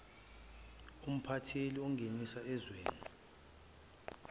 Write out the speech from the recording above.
umphatheli ongenisa ezweni